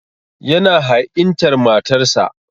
Yana ha'intar matarsa.